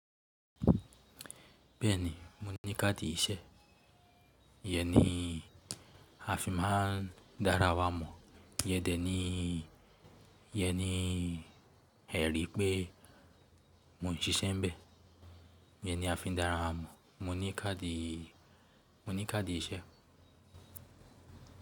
Bẹ́ẹ̀ni, mo ní káàdì iṣẹ́. Iyẹ ní a fi máa ń dára wá mọ̀, iyẹ dé ní, iyẹ ní ẹ̀rí pé mò ń ṣiṣẹ́ ńbẹ. Iyẹ ní a fi ń dára wá mọ̀. Mo ní káàdì, mo ní káàdì iṣẹ́.